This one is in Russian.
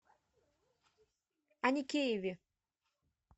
аникееве